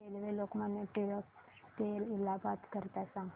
railway Lokmanya Tilak T ते इलाहाबाद करीता सांगा